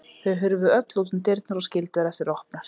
Þau hurfu öll út um dyrnar og skildu þær eftir opnar.